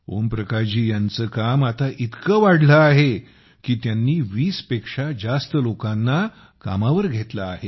ओम प्रकाश जी यांचे काम आता इतके वाढले आहे की त्यांनी 20 पेक्षा जास्त लोकांना कामावर घेतले आहे